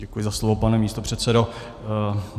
Děkuji za slovo, pane místopředsedo.